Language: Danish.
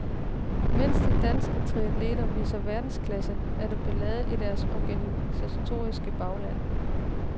Mens de danske triathleter viser verdensklasse, er der ballade i deres organisatoriske bagland.